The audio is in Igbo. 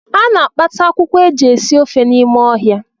A na-akpata akwụkwọ e ji esi ofe n’ime ọhịa